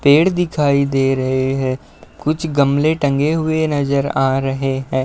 पेड़ दिखाई दे रहे हैं। कुछ गमले टंगे हुए नजर आ रहे हैं।